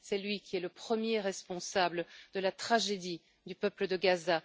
C'est lui qui est le premier responsable de la tragédie du peuple de Gaza.